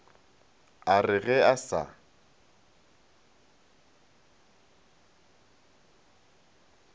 a re ge a sa